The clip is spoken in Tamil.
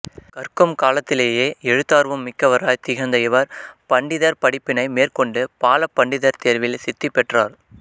கற்கும் காலத்திலேயே எழுத்தார்வம் மிக்கவராய் திகழ்ந்த இவர் பண்டிதர் படிப்பினை மேற்கொண்டு பால பண்டிதர் தேர்வில் சித்திபெற்றார்